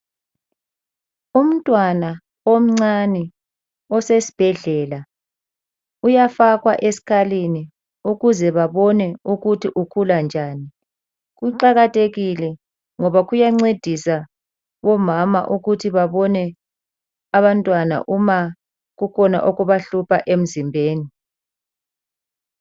Umntwana omncane osesibhedlela uyafakwa esikalini ukuze babone ukuthi ukhula njani. Kuqakathekile ngoba kuyancedisa omama ukuthi babone abantwana uma kukhona okubahlupha emzimbeni.